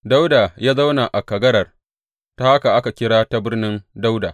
Dawuda zauna a kagarar, ta haka aka kira ta Birnin Dawuda.